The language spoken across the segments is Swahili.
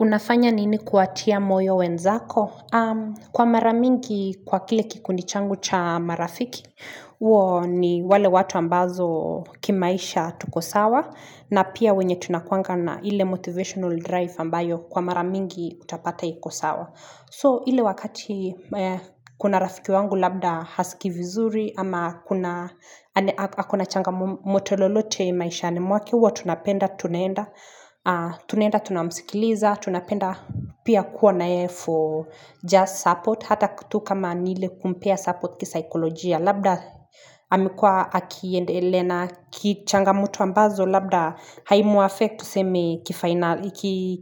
Unafanya nini kuatia moyo wenzako? Kwa mara mingi kwa kile kikundi changu cha marafiki, huo ni wale watu ambazo kimaisha tuko sawa na pia wenye tunakuanga na ile motivational drive ambayo kwa mara mingi utapata iko sawa. So ile wakati kuna rafiki wangu labda hasikii vizuri ama ako na changamoto lolote maisha mwake huwa tunapenda tunaenda Tunaenda tunamsikiliza tunapenda pia kuwa yeye for just support hata kutu kama ni ile kumpea support kisikolojia labda Amekuwa akiendele na kichangamoto ambazo labda haimuaffect tuseme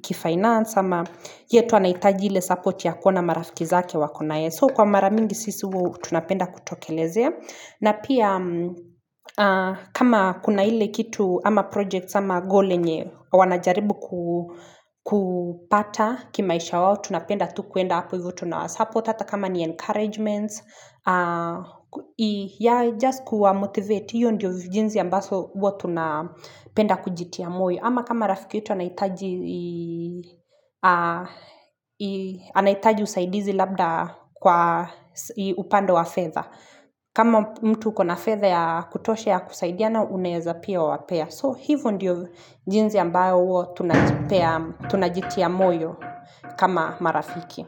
kifainance ama yeye tu anaitaji ile support ya kuona marafiki zake wako na yeye. So kwa mara mingi sisi huwa tunapenda kutokeleze. Na pia kama kuna ile kitu ama projects ama goal yenye wanajaribu kupata kimaisha wao. Tunapenda tu kuenda hapo hivo tunawasupport hata kama ni encouragements. Yeah just kuwa motivate hiyo ndiyo jinsi ya ambazo huwa tunapenda kujitia moyo ama kama rafiki yetu anahitaji anahitaji usaidizi labda kwa upande wa fedha kama mtu ukona fedha kutosha ya kusaidiana unaweza pia wapea so hivo ndiyo jinsi ya ambao huo tunajitia moyo kama marafiki.